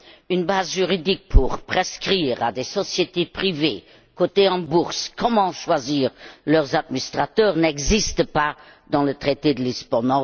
Une base juridique pour prescrire à des sociétés privées, cotées en bourse, la manière de choisir leurs administrateurs, n'existe pas dans le traité de Lisbonne.